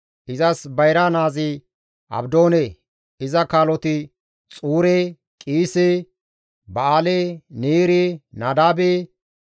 Izas bayra naazi Abdoone; iza kaaloti Xuure, Qiise, Ba7aale, Neere, Nadaabe,